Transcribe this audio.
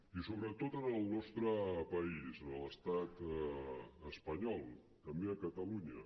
i sobretot en el nostre país en l’estat espanyol també a catalunya